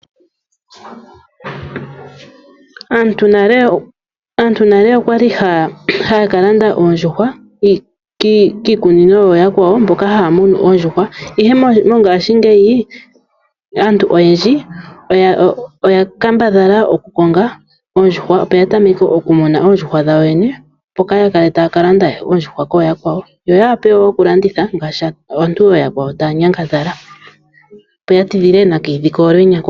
Aantu nale okwali haya ka landa oondjuhwa kiikunino yo yakwawo mboka haya munu oondjuhwa. Ihe mongashingeyi aantu oyendji oya kambadhala okukonga oondjuhwa yo yene opo ya tameke oku muna oondjuhwa dhawo yoyene itaya ka lande oondjuhwa koyaakwawo yo ya wape wo oku landitha ngaashi aantu oya kwawo taya nyangadhala. Yo ya tidhile nakayidhi kalwenya kokule.